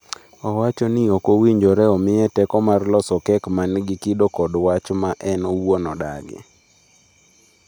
Owacho ni ok owinjore omiye teko mar loso kek ma nigi kido kod wach ma en owuon odagi.